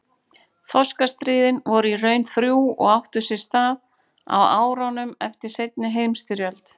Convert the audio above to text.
Þorskastríðin voru í raun þrjú og áttu sér stað á árunum eftir seinni heimsstyrjöld.